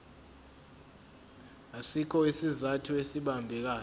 asikho isizathu esibambekayo